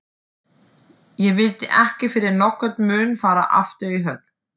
Ég vildi ekki fyrir nokkurn mun fara aftur í höll